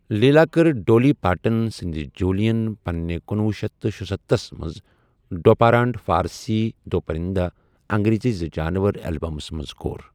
لیلا کٔر Dolly Parton سندِ Jolene پننہِ کنُۄہُ شیتھ تہٕ شُستَہس مَنٛز ڈو پارانڈِ فارسی دو پرنده، انگریزی زٕجانور البمس مَنٛز کُور